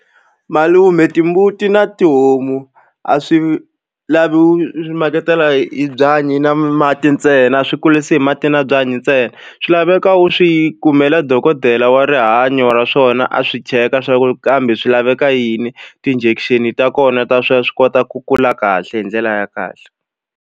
Malume timbuti na tihomu a swi lavi swi maketela hi byanyi na mati ntsena a swi kurisi hi mati na byanyi ntsena swi laveka u swi kumela dokodela wa rihanyo ra swona a swi cheka swa ku kambe swi laveka yini ti-injection ta kona ta swa swi kota ku kula kahle hi ndlela ya kahle.